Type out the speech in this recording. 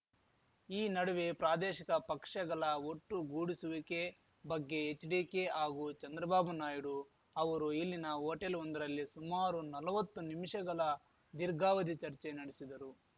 ಈ ನಡುವೆ ಪ್ರಾದೇಶಿಕ ಪಕ್ಷಗಲ ಒಟ್ಟುಗೂಡಿಸುವಿಕೆ ಬಗ್ಗೆ ಎಚ್‌ಡಿಕೆ ಹಾಗೂ ಚಂದ್ರಬಾಬು ನಾಯ್ಡು ಅವರು ಇಲ್ಲಿನ ಹೋಟೆಲ್‌ವೊಂದರಲ್ಲಿ ಸುಮಾರು ನಲ್ವತ್ತು ನಿಮಿಷಗಲ ದೀರ್ಘಾವಧಿ ಚರ್ಚೆ ನಡೆಸಿದರು